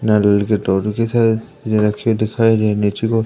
लाल colour के टॉवेलोंकी की साईझ रखे हुई दिखाई दे रही नीचे को--